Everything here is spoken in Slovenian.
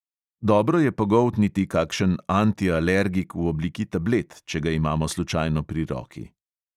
Dobro je pogoltniti kakšen antialergik v obliki tablet, če ga imamo slučajno pri roki.